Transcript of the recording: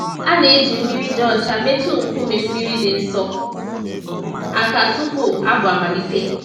A na-eji mmiri dị ọcha metụ nkume mmiri dị nsọ àkà tupu abụ amalite.